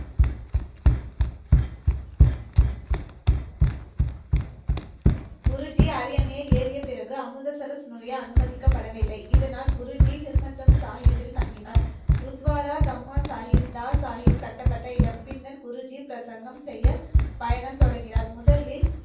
குருஜி, அரியணையை ஏறிய பிறகு அமிர்தசரஸ் நுழைய அனுமதிக்கப்படவில்லை. இதனால், குருஜி ஹிர்மத்ரம் சாகிப்பில் தங்கினார். குருத்வாரா தம்மா சாகிப்தா, சாகிப் கட்டப்பட்ட இடம். பின்னர் குருஜி பிரசங்கம் செய்ய பயணம் தொடங்கினார். முதலில்,